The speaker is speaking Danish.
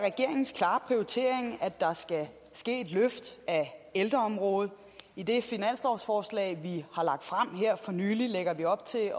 regeringens klare prioritering at der skal ske et løft af ældreområdet i det finanslovsforslag vi har lagt frem her for nylig lægger vi op til